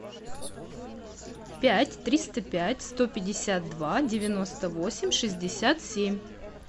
пять триста пять сто пятьдесят два девяносто восемь шестьдесят семь